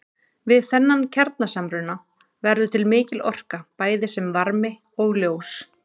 Við þennan kjarnasamruna verður til mikil orka bæði sem varmi og ljós.